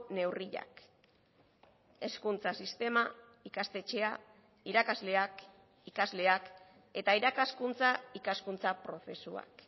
neurriak hezkuntza sistema ikastetxea irakasleak ikasleak eta irakaskuntza ikaskuntza prozesuak